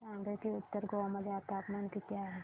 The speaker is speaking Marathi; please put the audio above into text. सांगा की उत्तर गोवा मध्ये तापमान किती आहे